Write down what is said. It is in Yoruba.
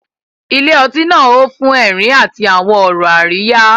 Ilé ọtí náà hó fún ẹ̀rín àti àwọn ọ̀rọ̀ àríyá.